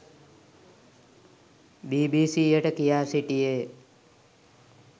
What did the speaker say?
බීබීසීයට කියා සිටියේය.